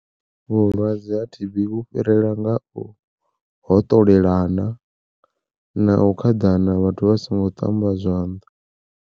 Vhulwadze ha T_B vhu fhirela nga u hoṱolelana na u khaḓana vhathu vha songo ṱamba zwanḓa.